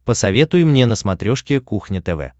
посоветуй мне на смотрешке кухня тв